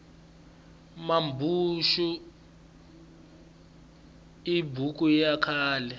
mambuxu i buku ya khale